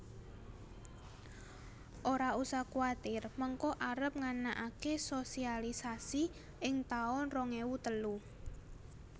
Ora usah kuatir mengko arep nganakake sosialisasi ing taun rong ewu telu